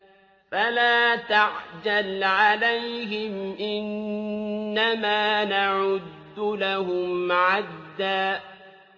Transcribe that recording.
فَلَا تَعْجَلْ عَلَيْهِمْ ۖ إِنَّمَا نَعُدُّ لَهُمْ عَدًّا